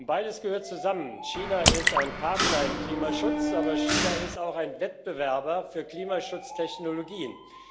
Beides gehört zusammen China ist ein Partner im Klimaschutz, aber China ist auch ein Wettbewerber für Klimaschutztechnologien.